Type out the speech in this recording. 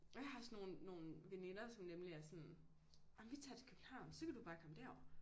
Og jeg har sådan nogen nogen veninder som nemlig er sådan ej vii tager til København så kan du bare komme derover